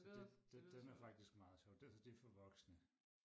så det den den er faktisk meget sjov altså det er for voksne